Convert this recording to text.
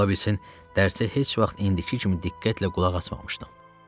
Ola bilsin dərsi heç vaxt indiki kimi diqqətlə qulaq asmamışdım.